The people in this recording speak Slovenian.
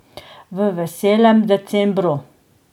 V veselem decembru.